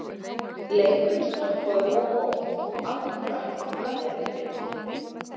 Leikurinn stoppaður of oft, af hverju ætli það hafi verið vinur?